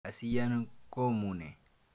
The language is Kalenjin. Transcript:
Amisyen komnue.